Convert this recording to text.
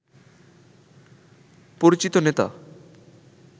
পরিচিত নেতা